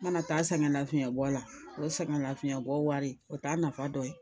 Mana taa sɛgɛnlafiɲɛbɔ la o ye sɛgɛnlafiɲɛbɔ wari o t'a nafa dɔ ye